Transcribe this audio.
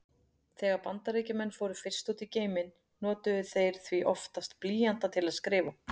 Þegar Bandaríkjamenn fóru fyrst út í geiminn notuðu þeir því oftast blýanta til að skrifa.